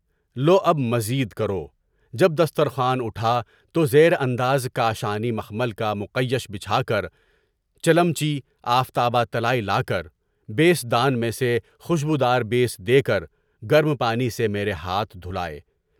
لواب مزید کرو۔ جب دسترخوان اٹھا تو زیر انداز کاشانی مخمل کا مقیش بچھا کر چلیجی، آفتابہ طلائی لاکر بستدان میں سے خوشبو دار پانی دے کر گرم پانی سے میرے ہاتھ دھلائے۔